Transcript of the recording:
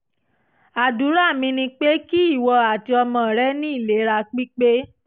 àdúrà mi ni pé kí ìwọ àti ọmọ rẹ ní ìlera pípe